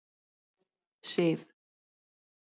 Sif